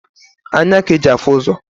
Anya k'e ji afụ ụzọ.